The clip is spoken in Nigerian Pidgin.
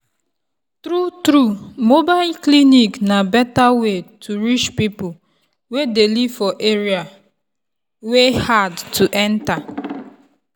true true mobile clinic na better way to reach people wey dey live for area wey hard to enter.